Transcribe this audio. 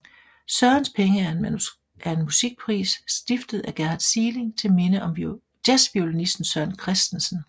Sørens penge er en musikpris stiftet af Gerhard Sieling til minde om jazzviolinisten Søren Christensen